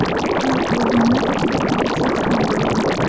Halok bo‘lganlar ichida politsiyachi ham bo‘lgan.